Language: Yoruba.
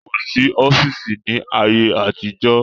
Kòsí ọ́fíìsì ni ayé àtijọ́